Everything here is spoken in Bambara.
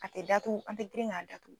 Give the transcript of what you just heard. A tɛ datugu an tɛ girin k'a datugu